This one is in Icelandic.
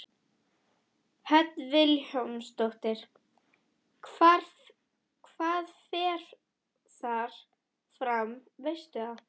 Hödd Vilhjálmsdóttir: Hvað fer þar fram, veistu það?